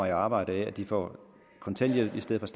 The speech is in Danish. i arbejde ved at de får kontanthjælp i stedet